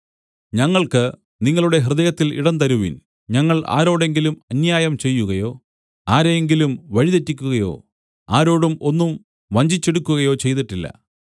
ഞങ്ങൾക്ക് നിങ്ങളുടെ ഹൃദയത്തിൽ ഇടം തരുവിൻ ഞങ്ങൾ ആരോടെങ്കിലും അന്യായം ചെയ്യുകയോ ആരെ എങ്കിലും വഴിതെറ്റിക്കുകയോ ആരോടും ഒന്നും വഞ്ചിച്ചെടുക്കുകയോ ചെയ്തിട്ടില്ല